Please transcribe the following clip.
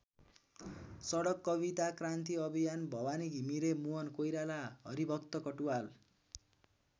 सडक कविता क्रान्ति अभियान भवानी घिमिरे मोहन कोइराला हरिभक्त कटुवाल।